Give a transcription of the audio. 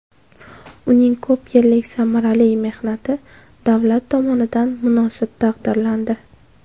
Uning ko‘p yillik samarali mehnati davlat tomonidan munosib taqdirlandi.